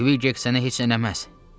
Kvik heç sənə heç nə eləməz.